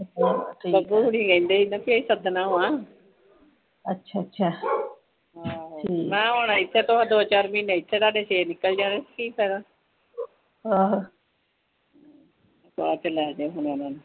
ਬੱਬੂ ਹੋਣੀ ਕਹਿੰਦੇ ਸੀ ਕਿ ਸਦਨਾਂ ਹੋਣਾ ਆਹੋ ਮੈਂ ਕਿਹਾ ਹੁਣ ਦੋ ਚਾਰ ਮਹੀਨੇ ਇੱਧਰ ਲਾਤੇ ਫਿਰ ਨਿੱਕਲ ਜਾਣਗੇ ਕੀ ਫਾਇਦਾ ਚਾਹ ਪਿਲਾ ਦੋ ਹੁਣ ਓਹਨਾ ਨੂੰ